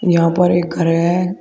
यहां पर एक घर है।